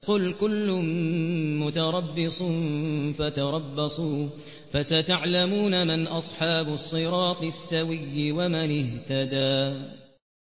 قُلْ كُلٌّ مُّتَرَبِّصٌ فَتَرَبَّصُوا ۖ فَسَتَعْلَمُونَ مَنْ أَصْحَابُ الصِّرَاطِ السَّوِيِّ وَمَنِ اهْتَدَىٰ